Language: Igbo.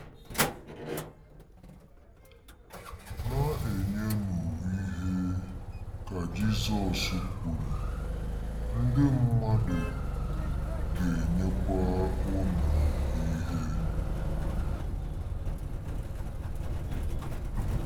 “Na-enyenụ ihe,” ka Jizọs kwuru, “ ndị mmadụ ga-enyekwa unu ihe.